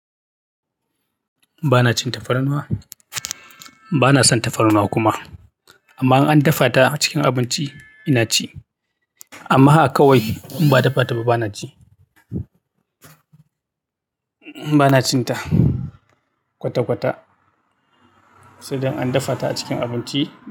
Ba na cin tafarnuwa, ba na son tafarnuwa kuma. Idan an defa ta acikin abinci ina ci amma a kawai in ba a dafa ta ba, ba na ci. Ba na cin ta kwata-kwata. Sai dai an dafa ta a cikin abinci.